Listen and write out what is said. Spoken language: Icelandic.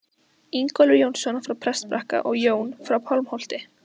Ingólfur Jónsson frá Prestbakka og Jón frá Pálmholti.